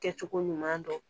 Kɛcogo ɲuman dɔn